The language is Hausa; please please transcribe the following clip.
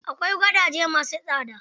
Akwai gadaje ma su tsada.